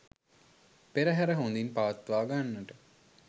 පෙරහැර හොඳින් පවත්වා ගන්නට